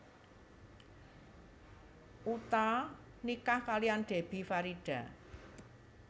Utha nikah kaliyan Debbie Farida